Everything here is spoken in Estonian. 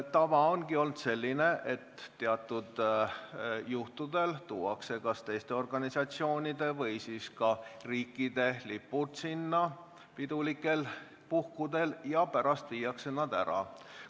Tava on olnud selline, et teatud juhtudel tuuakse mingite organisatsioonide või teiste riikide lipud pidulikel puhkudel valgesse saali ja pärast viiakse jälle ära.